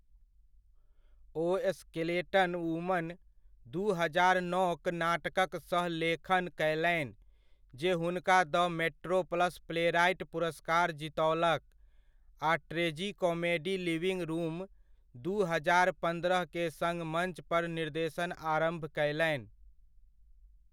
ओ skeleton woman, दू हजार नओक नाटकक सह लेखन कयलनि जे हुनका द मेट्रोप्लस प्लेराइट पुरस्कार जीतओलक, आ ट्रेजिकोमेडी लिविंग रूम, दू हजार पन्द्रहके सङ्ग मञ्च पर निर्देशन आरम्भ कयलनि।